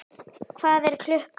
Hvað er klukkan?